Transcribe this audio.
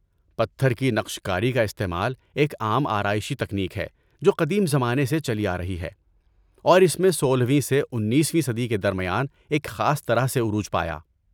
پتھر کی نقش کاری کا استعمال ایک عام آرائشی تکنیک ہے جو قدیم زمانے سے چلی آرہی ہے اور اس میں سولہ ویں سے انیسویں صدی کے درمیان ایک خاص طرح سے عروج پایا